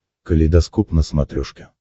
калейдоскоп на смотрешке